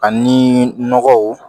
Ani nɔgɔw